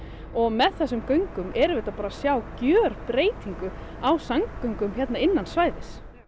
og með göngunum erum við að sjá gjörbreytingu á samgöngum innan svæðis